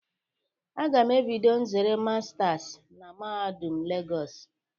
A ga m ebido nzere masters na mahadum Lagos